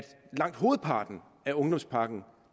langt hovedparten af ungdomspakken